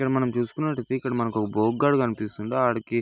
ఇక్కడ మనం చూసుకున్నట్లయితే ఇక్కడ మనకి ఒక్క బొగ్గాడు కనిపిస్తున్నాడు. ఆడికి--